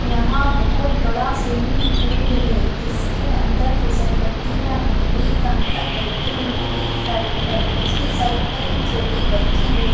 यहाँ बहुत बड़ा स्विमिंग पूल है जिसके अंदर फिसल पट्टियाँ है एक अंकल बैठे है एक साइड पर एक साइड दूसरे साइड पर एक छोटी बच्ची हैं।